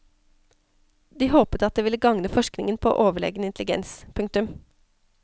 De håpet at det ville gagne forskningen på overlegen intelligens. punktum